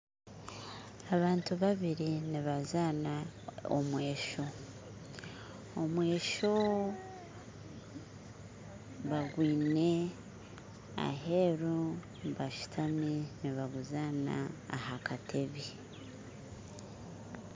Abantu babiri nibazana omweso omweso bagwine aheeru nibaguzaana ahakateebe.